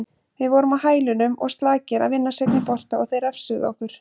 Við vorum á hælunum og slakir að vinna seinni bolta og þeir refsuðu okkur.